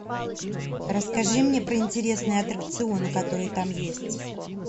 расскажи мне про интересные аттракционы которые там есть